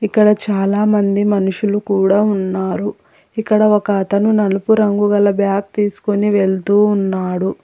ఇక్కడ చాలామంది మనుషులు కూడా ఉన్నారు ఇక్కడ ఒక అతను నలుపు రంగు గల బ్యాగ్ తీసుకొని వెళ్తూ ఉన్నాడు.